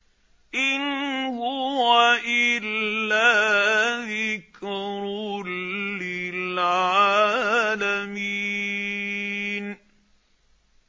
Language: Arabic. إِنْ هُوَ إِلَّا ذِكْرٌ لِّلْعَالَمِينَ